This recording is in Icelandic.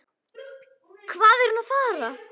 Hvað er hún að fara?